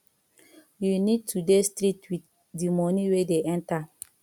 you need to dey strict with di money wey dey enter